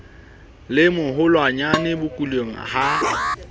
le moholwanae ho kuleng ha